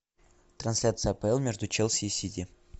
трансляция апл между челси и сити